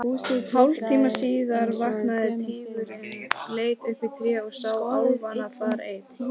Hálftíma síðar vaknaði tígurinn, leit upp í tréð og sá álfana þar enn.